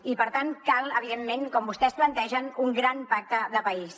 i per tant cal evidentment com vostès plantegen un gran pacte de país